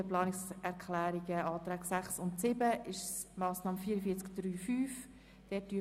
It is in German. Die Planungserklärungen/Anträge 6 und 7 betreffen die Massnahme 44.3.5.